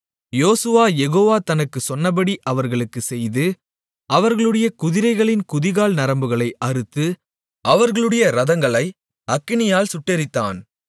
யோசுவா யெகோவா தனக்குச் சொன்னபடி அவர்களுக்குச் செய்து அவர்களுடைய குதிரைகளின் குதிகால் நரம்புகளை அறுத்து அவர்களுடைய இரதங்களை அக்கினியால் சுட்டெரித்தான்